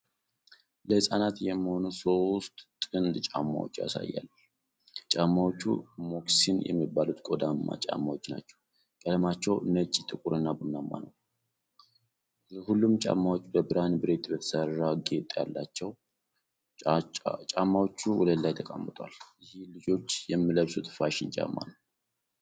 ለህጻናት የሚሆኑ ሶስት ጥንድ ጫማዎች ያሳያል። ጫማዎቹ ሞካሲን የሚባሉት ቆዳማ ጫማዎች ናቸው። ቀለማቸው ነጭ፣ ጥቁርና ቡናማ ነው። ሁሉም ጫማዎች በብርሃን ብረት የተሠራ ጌጥ አላቸው። ጫማዎቹ ወለል ላይ ተቀምጠዋል፤ ይህም ልጆች የሚለብሱት ፋሽን ጫማ ነው።